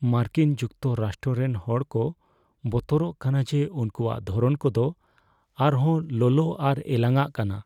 ᱢᱟᱨᱠᱤᱱ ᱡᱩᱠᱛᱚᱨᱟᱥᱴᱨᱚ ᱨᱮᱱ ᱦᱚᱲ ᱠᱚ ᱵᱚᱛᱚᱨᱚᱜ ᱠᱟᱱᱟ ᱡᱮ ᱩᱱᱠᱩᱣᱟᱜ ᱫᱷᱚᱨᱚᱱ ᱠᱚᱫᱚ ᱟᱨ ᱦᱚᱸ ᱞᱚᱞᱚ ᱟᱨ ᱮᱞᱟᱝᱼᱚᱜ ᱠᱟᱱᱟ ᱾